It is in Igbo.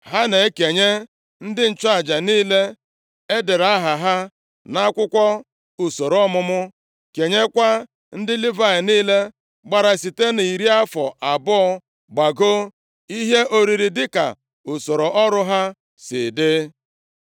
Ha na-ekenye ndị nchụaja niile e dere aha ha nʼakwụkwọ usoro ọmụmụ, kenyekwa ndị Livayị niile gbara site iri afọ abụọ gbagoo ihe oriri dịka usoro ọrụ ha si dị.